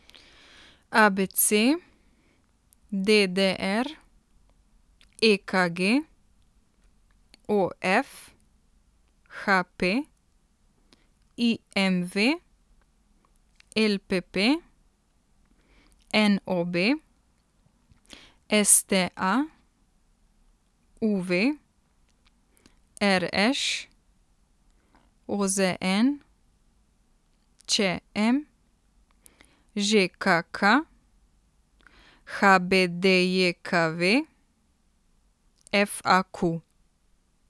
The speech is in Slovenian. A B C; D D R; E K G; O F; H P; I M V; L P P; N O B; S T A; U V; R Š; O Z N; Č M; Ž K K; H B D J K V; F A Q.